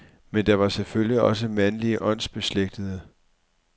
Men der var selvfølgelig også mandlige åndsbeslægtede.